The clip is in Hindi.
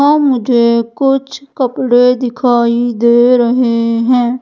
आ मुझे कुछ कपड़े दिखाई दे रहे हैं।